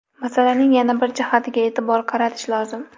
Masalaning yana bir jihatiga e’tibor qaratish lozim.